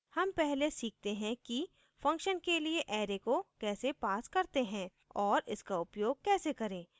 हम पहले सीखते हैं कि function के लिए array को कैसे pass करते हैं और इसका उपयोग कैसे करें